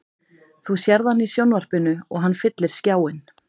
Þú sérð hann í sjónvarpinu og hann fyllir skjáinn.